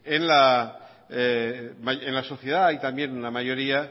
en la sociedad hay también una mayoría